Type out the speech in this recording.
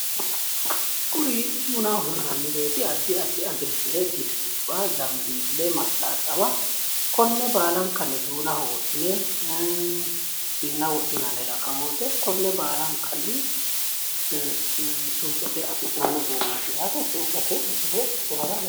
kuri duunaho hirrannireeti addi addi agilgile, distubba, zanbeeli .mastaxaba konne baalankanni duunaho wodhine siinna wodhinanni rakkowoote konne baalankanni suuqete afi'nani uduuneeti yaate suuqete misile ikkitinota.